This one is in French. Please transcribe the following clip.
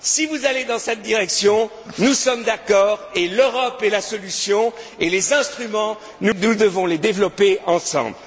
Si vous allez dans cette direction, nous sommes d'accord et l'Europe est la solution et les instruments, nous devons les développer ensemble.